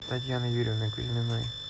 татьяны юрьевны кузьминой